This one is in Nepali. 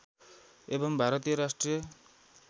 एवं भारतीय राष्ट्रिय